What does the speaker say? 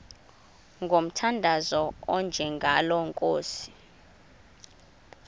ngomthandazo onjengalo nkosi